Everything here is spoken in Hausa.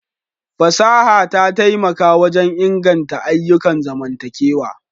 Fasaha ta taimaka wajen inganta ayyukan zamantakewa.